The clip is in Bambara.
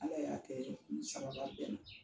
Ala y'a kɛ o ni sababa bɛnna.